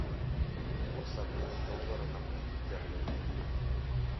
курс обмена доллара на фунты стерлинги